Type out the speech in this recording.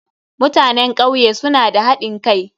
Mutanen kauye suna da hadin kai.